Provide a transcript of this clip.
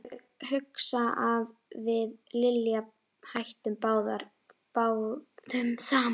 Ég hugsa að við Lilja hættum bráðum saman.